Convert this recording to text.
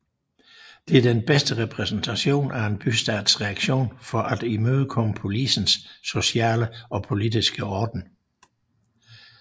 Det er den bedste repræsentation af en bystats reaktion for at imødekomme polisens sociale og politiske orden